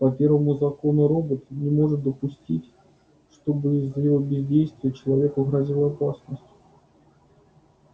по первому закону робот не может допустить чтобы из-за его бездействия человеку грозила опасность